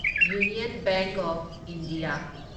union Bank of India